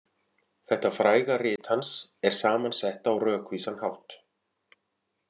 Þetta fræga rit hans er saman sett á rökvísan hátt.